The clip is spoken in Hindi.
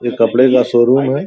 ये कपड़े का शो रूम है।